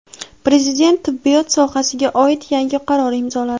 Prezident tibbiyot sohasiga oid yangi qaror imzoladi.